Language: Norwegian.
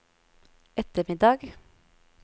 ettermiddag